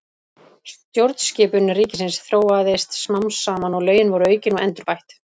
Stjórnskipun ríkisins þróaðist smám saman og lögin voru aukin og endurbætt.